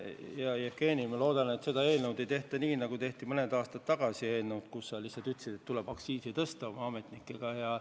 Hea Jevgeni, ma loodan, et seda eelnõu ei tehtud nii, nagu tehti mõni aasta tagasi eelnõu, mille puhul sa lihtsalt ütlesid koos oma ametnikega, et tuleb aktsiisi tõsta.